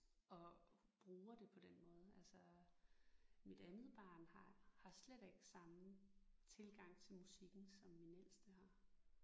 Og bruger det på den måde altså. Mit andet barn har har slet ikke samme tilgang til musikken som min ældste har